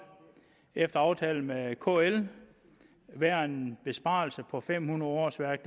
efter aftale med kl være en besparelse på fem hundrede årsværk